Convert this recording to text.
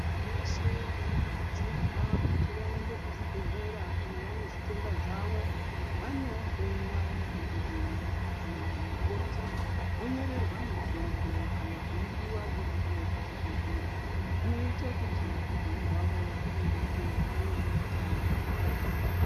Muntu weshe anokurudzirwa kuti vaende kuchibhedhlera kana vabezvitenda zvavo vanohloyiwa nadhogodheya kanana mukoti vonyorerwa mitombo kana kupuwa iripo pachibhedhlera zvinoita kuti upenyu hwavo hwureruke vave neutano hwakanaka.